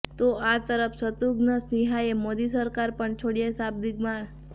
તો આ તરફ શત્રુઘ્ન સિંહાએ મોદી સરકાર પર છોડ્યા શાબ્દિક બાણ